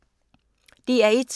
DR1